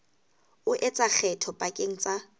o etsa kgetho pakeng tsa